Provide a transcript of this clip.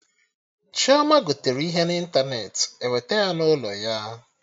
Chioma gotere ihe na ịntanetị, ewete ya n'ụlọ ya